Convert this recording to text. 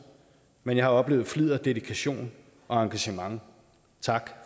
men jeg har oplevet flid og dedikation og engagement tak